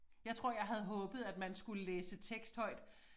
Jeg tror jeg havde håbet at man skulle læse tekst højt